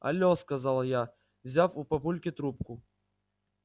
але сказала я взяв у папульки трубку